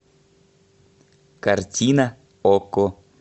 картина окко